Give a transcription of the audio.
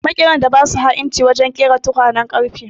Makeran da ba su ha'inci wajen ƙera tukwanen ƙarfe.